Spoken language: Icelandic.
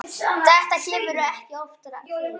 Þetta kemur ekki oftar fyrir.